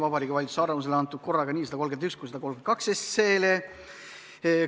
Vabariigi Valitsuse arvamus oli antud korraga nii eelnõu 131 kui ka 132 kohta.